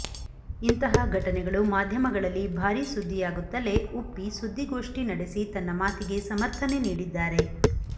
ಇಂತಹಾ ಘಟನೆಗಳು ಮಾಧ್ಯಮಗಳಲ್ಲಿ ಭಾರೀ ಸುದ್ಧಿಯಾಗುತ್ತಲೇ ಉಪ್ಪಿ ಸುದ್ಧಿ ಗೋಷ್ಟಿ ನಡೆಸಿ ತನ್ನ ಮಾತಿಗೆ ಸಮರ್ಥನೆ ನೀಡಿದ್ದಾರೆ